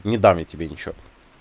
не дам я тебе ничего